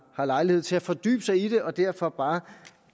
har lejlighed til at fordybe sig i det og derfor